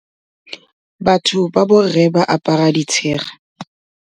Batho ba borre ba apara bo ditshega.